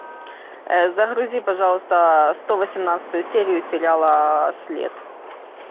загрузи пожалуйста сто восемнадцатую серию сериала след